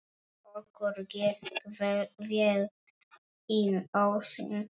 Okkur gekk vel inn ósinn.